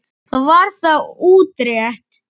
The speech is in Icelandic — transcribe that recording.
Þá var það útrætt.